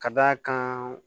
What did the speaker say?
Ka d'a kan